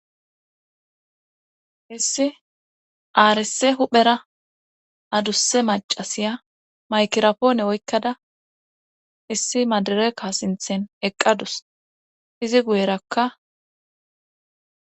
issi aares huphera adusse macasiya maykirapoone oykkada issi madireka sinthen eqqadus izi guyerakka